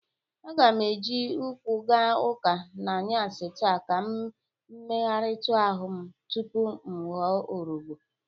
Aga m e ji ụkwụ ga ụka n'anyasị taa ka m megharitụ ahụ m tupu m ghọ ọrọbọ.